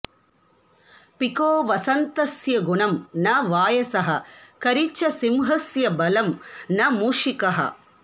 pico वसन्तस्य गुणं न वायसः करि च सिंहस्य बलं न मूषिकः